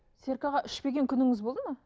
серік аға ішпеген күніңіз болды ма